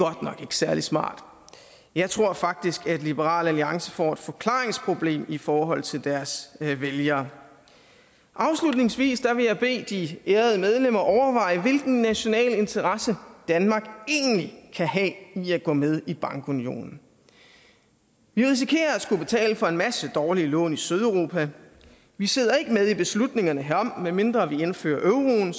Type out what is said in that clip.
særlig smart jeg tror faktisk at liberal alliance får et forklaringsproblem i forhold til deres vælgere afslutningsvis vil jeg bede de ærede medlemmer overveje hvilke nationale interesser danmark egentlig kan have i at gå med i bankunionen vi risikerer at skulle betale for en masse dårlige lån i sydeuropa vi sidder ikke med i beslutningerne herom medmindre vi indfører euroen